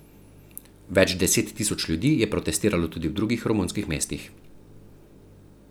Več deset tisoč ljudi je protestiralo tudi v drugih romunskih mestih.